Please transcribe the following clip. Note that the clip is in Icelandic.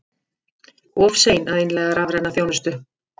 Of sein að innleiða rafræna þjónustu